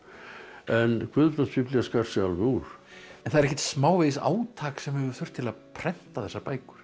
en Guðbrandsbiblía skar sig alveg úr en það er ekkert smávegis átak sem hefur þurft til að prenta þessar bækur